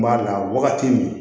N b'a dan wagati min